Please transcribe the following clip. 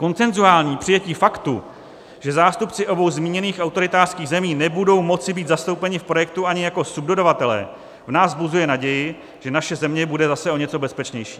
Konsenzuální přijetí faktu, že zástupci obou zmíněných autoritářských zemí nebudou moci být zastoupeni v projektu ani jako subdodavatelé, v nás vzbuzuje naději, že naše země bude zase o něco bezpečnější.